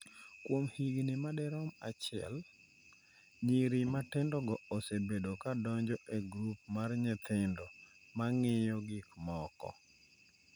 Kuom higni madirom achiel, nyiri matindogo osebedo ka donjo e grup mar nyithindo ma ng’iyo gik moko.